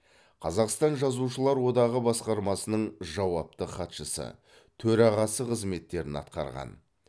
қазақстан жазушылар одағы басқармасының жауапты хатшысы төрағасы қызметтерін атқарған